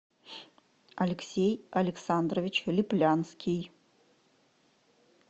алексей александрович липлянский